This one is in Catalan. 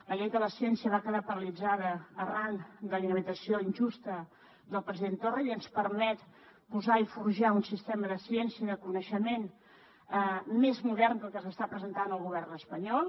la llei de la ciència va quedar paralitzada arran de la inhabilitació injusta del president torra i ens permet posar i forjar un sistema de ciència de coneixement més modern que el que s’està presentant al govern espanyol